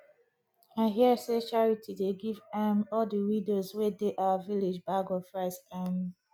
i hear say charity dey give um all the widows wey dey our village bag of rice um